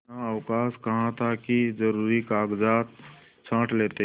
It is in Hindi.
इतना अवकाश कहाँ था कि जरुरी कागजात छॉँट लेते